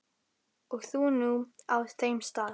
Og þú nú á þeim stað.